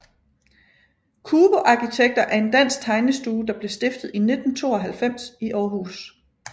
Cubo Arkitekter er en dansk tegnestue der blev stiftet i 1992 i Aarhus